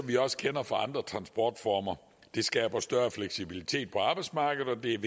vi også kender fra andre transportformer det skaber større fleksibilitet på arbejdsmarkedet og det er